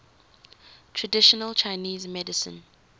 traditional chinese medicine